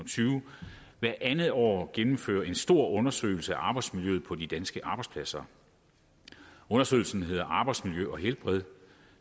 tyve hvert andet år gennemfører en stor undersøgelse af arbejdsmiljøet på de danske arbejdspladser undersøgelsen hedder arbejdsmiljø og helbred